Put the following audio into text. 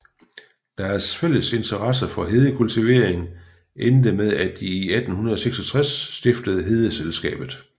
Deres fælles interesse for hedekultivering endte med at de i 1866 stiftede Hedeselskabet